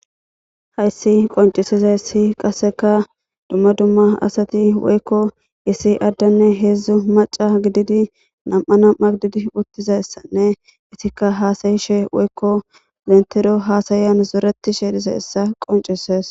Hayssi qoncisiza issi qasseka dumma dumma asati woykko isi addanne heedzdzu maca gididi nam7a nam7a gididi uttizayssanne isikka haasayishe woykko lentero haasayan zoreti she dise essa qoncisees.